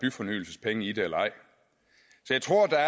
byfornyelsespenge i det eller ej så jeg tror at der